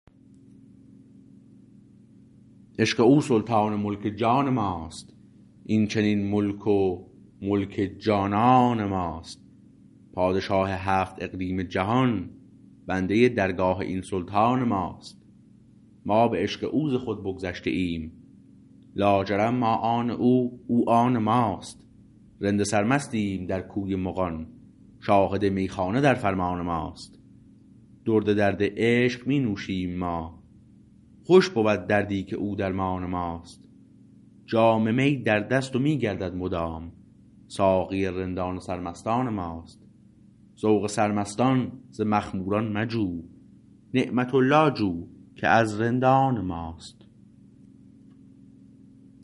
عشق او سلطان ملک جان ماست این چنین ملک و ملک جانان ماست پادشاه هفت اقلیم جهان بنده درگاه این سلطان ماست ما به عشق او ز خود بگذشته ایم لاجرم ما آن او او آن ماست رند سرمستیم در کوی مغان شاهد میخانه در فرمان ماست درد درد عشق می نوشیم ما خوش بود دردی که او درمان ماست جام می در دست و می گردد مدام ساقی رندان سرمستان ماست ذوق سرمستان ز مخموران مجوی نعمت الله جو که از رندان ماست